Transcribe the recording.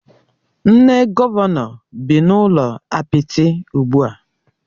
Nne Gọvanọ bị n'ụlọ apịtị ugbua